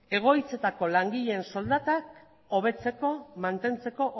egoitzetako langileen soldatak hobetzeko mantentzeko